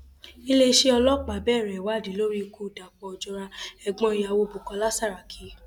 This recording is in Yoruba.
iléeṣẹ ọlọpàá bẹrẹ ìwádìí lórí ikú dapò ojora ẹgbọn ìyàwó bukola saraki